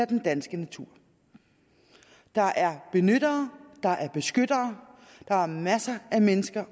den danske natur der er benyttere og der er beskyttere der er masser af mennesker